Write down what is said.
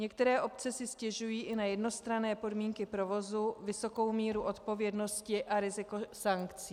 Některé obce si stěžují i na jednostranné podmínky provozu, vysokou míru odpovědnosti a riziko sankcí.